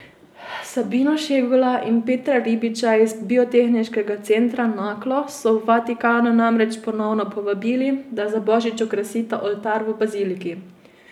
Sabino Šegula in Petra Ribiča iz biotehniškega centra Naklo so v Vatikanu namreč ponovno povabili, da za božič okrasita oltar v baziliki.